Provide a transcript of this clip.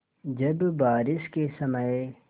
जब बारिश के समय